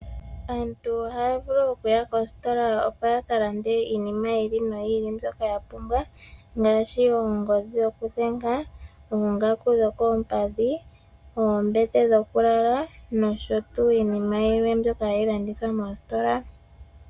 Aantu ohaya vulu okuya koositola opo ya ka lande iinima yi ili noyi ili mbyoka ya pumbwa, ngaashi ongodhi yokudhenga, oongaku dhokoompadhi, oombete dhokulala, noshotu iinima yilwe mbyoka hayi landithwa mositola.